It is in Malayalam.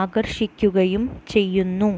ആകർഷിക്കുകയും ചെയ്യുന്നു